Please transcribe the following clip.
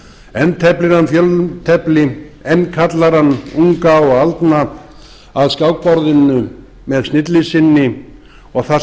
enn teflir hann fjöltefli enn kallar hann unga og aldna að skákborðinu með snilli sinni og þar